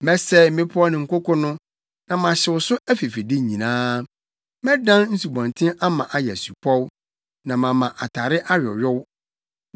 Mɛsɛe mmepɔw ne nkoko no na mahyew so afifide nyinaa. Mɛdan nsubɔnten ama ayɛ asupɔw, na mama atare ayoyow.